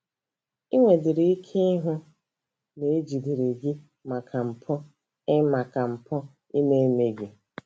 Ị nwedịrị ike ịhụ na ejidere gị maka mpụ ị maka mpụ ị na-emeghị!